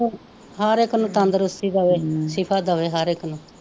ਹਰ ਇੱਕ ਨੂੰ ਤੰਦਰੁਸਤੀ ਦੇਵੇ, ਦੇਵੇ ਹਰ ਇੱਕ ਨੂੰ